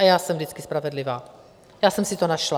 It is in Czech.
A já jsem vždycky spravedlivá, já jsem si to našla.